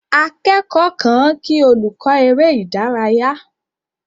Akẹ́kọ̀ọ́ kan kí olùkọ́ eré ìdárayá.